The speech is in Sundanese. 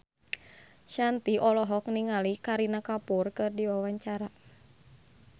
Shanti olohok ningali Kareena Kapoor keur diwawancara